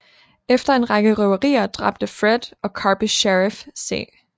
Efter en række røverier dræbte Fred og Karpis Sheriff C